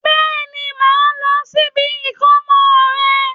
Bẹ́ẹ̀ni, mo máa lọ sí ibi ìkómọ rẹ̀